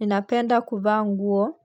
Ninapenda kuvaa nguo